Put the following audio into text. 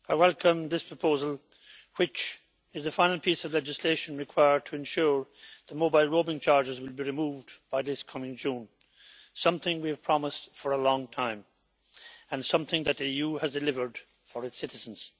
Mr President, I welcome this proposal, which is the final piece of legislation required to ensure that mobile roaming charges will be removed by this coming June something we have promised for a long time and something that the EU has delivered for its citizens.